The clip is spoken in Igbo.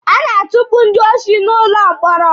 A na-atukpu ndị oshi n'ụlọ mkpọrọ.